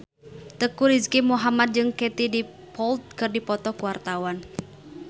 Teuku Rizky Muhammad jeung Katie Dippold keur dipoto ku wartawan